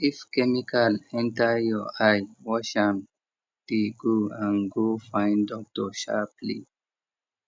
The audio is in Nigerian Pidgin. if chemical enter your eye wash am dey go and go find doctor sharply